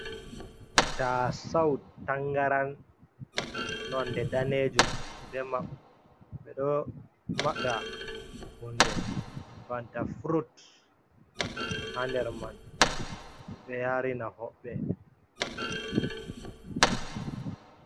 Ta sau tangaran non de danejum edm hunde banta frut hander man ɓe yarina hoɓɓe.